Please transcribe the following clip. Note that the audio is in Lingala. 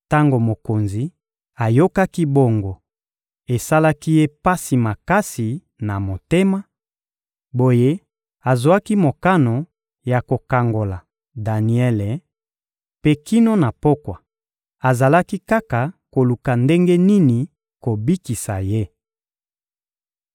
Tango mokonzi ayokaki bongo, esalaki ye pasi makasi na motema; boye azwaki mokano ya kokangola Daniele; mpe kino na pokwa, azalaki kaka koluka ndenge nini kobikisa ye.